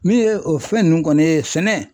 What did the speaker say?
Min ye o fɛn nun kɔni ye sɛnɛ